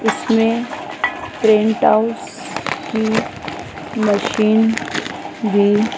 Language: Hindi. इसमें प्रिंट हाउस की मशीन भी--